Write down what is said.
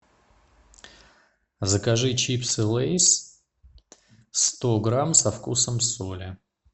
закажи чипсы лейс сто грамм со вкусом соли